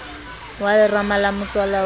wa lerama la motswala wa